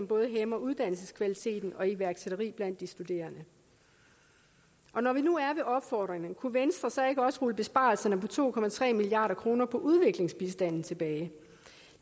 både hæmmer uddannelseskvaliteten og iværksætteri blandt de studerende når vi nu er ved opfordringerne kunne venstre så ikke også rulle besparelserne på to milliard kroner på udviklingsbistanden tilbage